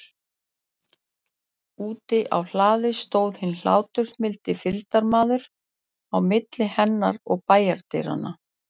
Úti á hlaðinu stóð hinn hláturmildi fylgdarmaður, á milli hennar og bæjardyranna.